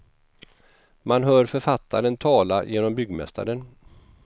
Man hör författaren tala genom byggmästaren.